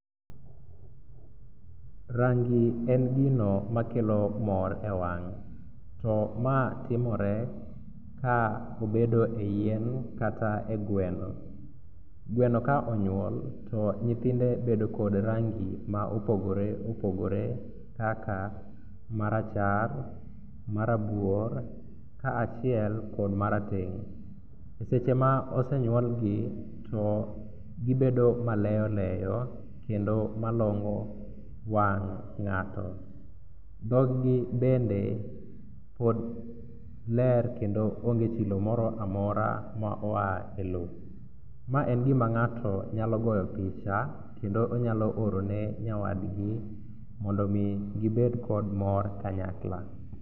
Rangi en gino makelo mor e wang' to ma timore ka obedo e yien kata e gweno. Gweno ka onyuol to nyithinde bedo kod rangi ma opogore opogore kaka marachar, marabuor kaachiel kod marateng'. To seche ma osenyuolgi to gibedo maleyoleyo kendo malombo wang' ng'ato, dhoggi bende pod ler kendo onge chilo moro amora ma oa e lo. Ma en gima ng'ato nyalo go picha kendo onyalo orone nyawadgi mondo omi gibed kod mor kanyakla.